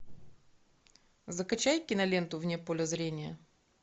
закачай киноленту вне поля зрения